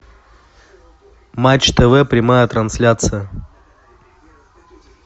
матч тв прямая трансляция